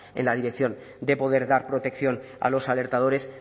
en la dirección de poder dar protección a los alertadores